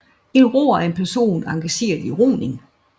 En roer er en person engageret i roning